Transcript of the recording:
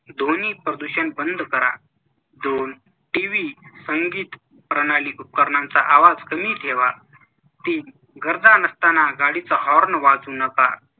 ध्वनी प्रदूषण बंद करा दोन TV, संगीत प्रणाली उपकरणांचा आवाज कमी ठेवा. तीन गरजा नसताना गाडीचा horn वाजवू नका.